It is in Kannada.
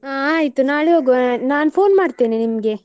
ಆ ಆಯ್ತು ನಾಳೆ ಹೋಗ್ವ ನಾನ್ phone ಮಾಡ್ತೇನೆ ನಿಮ್ಗೆ.